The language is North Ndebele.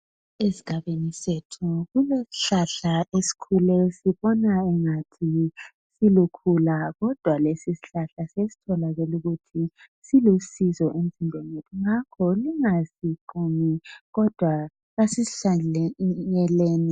Esigabeni sethu kulesihlahla esikhule sisibona angathi silukhula, kodwa kesisihlahla, sesibonakele ukuthi silusizo. Ngakho jasingasiqumi. Kasisihlanyeleni.